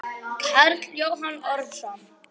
Karl Jóhann Ormsson